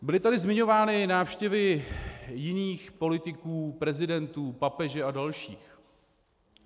Byly tady zmiňovány návštěvy jiných politiků, prezidentů, papeže a dalších.